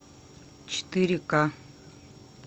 четыре ка